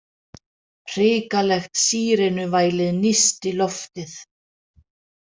Hrikalegt sírenuvælið nísti loftið.